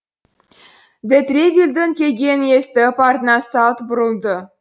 де тревильдің келгенін естіп артына салт бұрылды